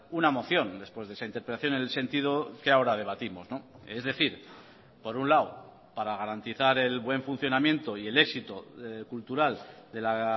una moción después de esa interpelación en el sentido que ahora debatimos es decir por un lado para garantizar el buen funcionamiento y el éxito cultural de la